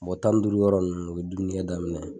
Mɔgɔ tan duuru yɔrɔ ninnu u bi dumuni kɛ daminɛ